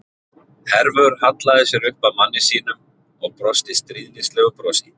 Hervör hallaði sér upp að manni sínum og brosti stríðnislegu brosi.